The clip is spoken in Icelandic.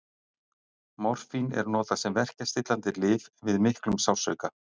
Morfín er notað sem verkjastillandi lyf við miklum sársauka.